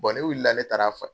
ne wulila ne taara fɔ